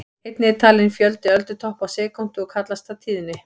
Einnig er talinn fjöldi öldutoppa á sekúndu og kallast það tíðni.